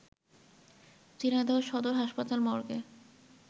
ঝিনাইদহ সদর হাসপাতাল মর্গে